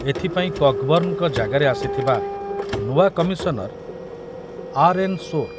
ଏଥିପାଇଁ କକବର୍ଣ୍ଣଙ୍କ ଜାଗାରେ ଆସିଥିବା ନୂଆ କମିଶନର ଆର୍.ଏନ୍. ସୋର